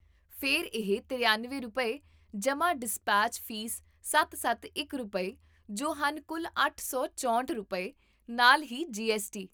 ਫਿਰ ਇਹ ਤਰਿਆਨਵੇਂ ਰੁਪਏ, ਜਮਾਂ ਡਿਸਪੈਚ ਫੀਸ ਸੱਤ ਸੱਤ ਇਕ ਰੁਪਏ, ਜੋ ਹਨ ਕੁੱਲ ਅੱਠ ਸੌ ਚੌਂਹਠ ਰੁਪਏ, ਨਾਲ ਹੀ ਜੀ ਐੱਸ ਟੀ